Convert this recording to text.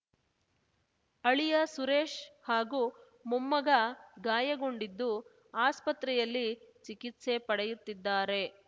ಅಳಿಯ ಸುರೇಶ್‌ ಹಾಗೂ ಮೊಮ್ಮಗ ಗಾಯಗೊಂಡಿದ್ದು ಆಸ್ಪತ್ರೆಯಲ್ಲಿ ಚಿಕಿತ್ಸೆ ಪಡೆಯುತ್ತಿದ್ದಾರೆ